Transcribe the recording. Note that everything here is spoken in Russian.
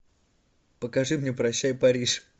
покажи мне прощай париж